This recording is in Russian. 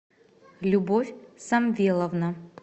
любовь самвеловна